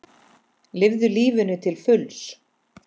Lifðu lífinu til fulls!